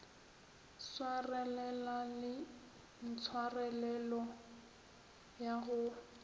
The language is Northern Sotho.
swarelela le tshwarelelo ya go